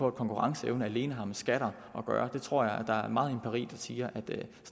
at konkurrenceevne alene har med skatter at gøre jeg tror der er meget empiri der siger at